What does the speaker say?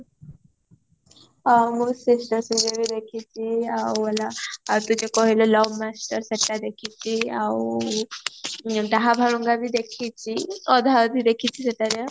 ଆଉ ମୁଁ sister ଶ୍ରୀଦେବୀ ଦେଖିଚି ଆଉ ହେଲା ତୁ ଯୋଉ କହିଲୁ love master ସେଟା ଦେଖିଚି ଆଉ ଦାହ ବାଳୁଙ୍ଗା ବି ଦେଖିଚି ଅଧା ଅଧି ଦେଖିଚି ସେଟା ଯାହା